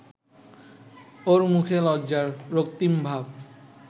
ওর মুখে লজ্জার রক্তিম ভাব